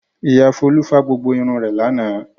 Ìyá Folú fá gbogbo irun rẹ̀ lánàá.